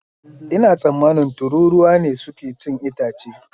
Ina tsammanin tururuwa ne suke cin itace.